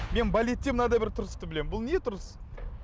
мен балетте мынадай бір тұрысты білемін бұл не тұрыс